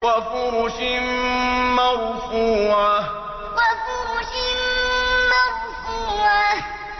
وَفُرُشٍ مَّرْفُوعَةٍ وَفُرُشٍ مَّرْفُوعَةٍ